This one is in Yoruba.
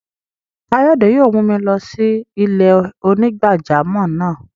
Kayode yóò mù mi lọ sí ilẹ̀-onígbàjàmọ́ náà.